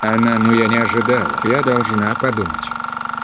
она ну я не ожидал я должна подумать